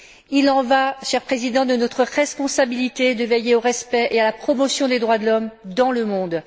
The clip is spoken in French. Il y va, cher Président, de notre responsabilité de veiller au respect et à la promotion des droits de l'homme dans le monde.